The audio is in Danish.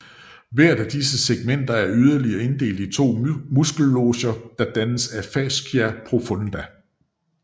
Hver af disse segmenter er yderligere inddelt i to muskelloger der dannes af fascia profunda